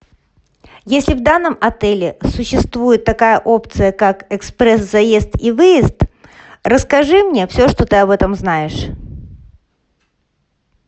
если в данном отеле существует такая опция как экспресс заезд и выезд расскажи мне все что ты об этом знаешь